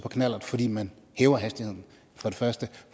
på knallert fordi man hæver hastigheden for det første